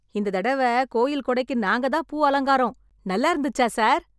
இந்த தடவ கோயில் கொடைக்கு நாங்க தான் பூ அலங்காரம், நல்லா இருந்துச்சா சார்?